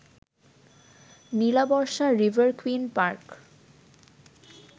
Nilabarsha river queen park